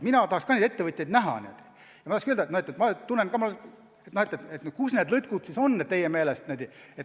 Mina tahaks ka neid ettevõtjaid näha ja küsida, kus need lõtkud on siis teie meelest.